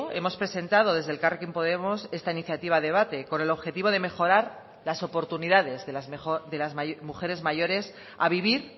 hemos presentado desde elkarrekin podemos esta iniciativa a debate con el objetivo de mejorar las oportunidades de las mujeres mayores a vivir